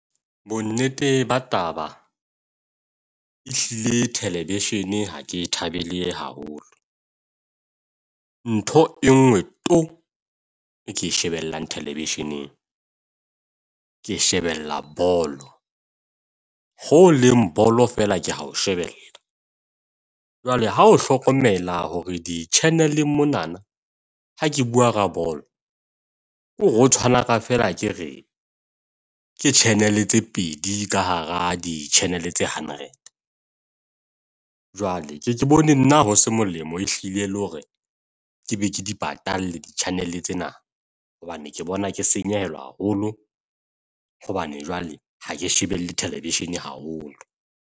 Bonnete ba taba ehlile television ha ke e thabele haholo. Ntho e nngwe to! e ke e shebellang television-eng. Ke shebella bolo, holeng bolo fela ke a ho shebella. Jwale ha o hlokomela hore di -channel-eng monana ha ke bua ka bolo, kore ho tshwana fela hakere ke channel tse pedi ka hara di-channel tse hundred. Jwale ke ye ke bone nna ho se molemo ehlile le hore ke be ke di patalle di-channel tsena, hobane ke bona ke senyehelwa haholo hobane jwale ha ke shebelle television haholo.